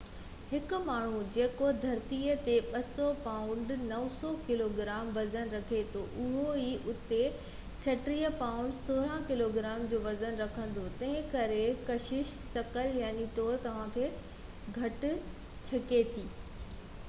هڪ ماڻهو جيڪو ڌرتيءَ تي 200 پائونڊ 90 ڪلوگرام وزن رکي ٿو اهو آئي او تي 36 پائونڊ 16 ڪلوگرام جو وزن رکندو. تنهن ڪري ڪشش ثقل، يقيني طور، توهان کي گهٽ ڇڪي ٿي